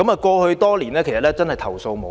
過去多年，該區居民真的是投訴無門。